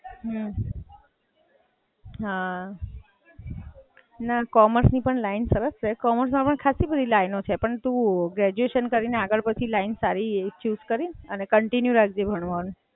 અચ્છા એવું છે.